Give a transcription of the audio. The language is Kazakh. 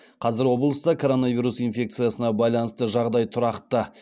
қазір облыста коронавирус инфекциясына байланысты жағдай тұрақты